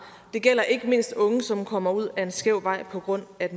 det gælder ikke mindst unge som kommer ud ad en skæv vej på grund af